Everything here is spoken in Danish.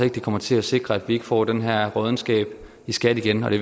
ikke kommer til at sikre at vi ikke får den her råddenskab i skat igen og det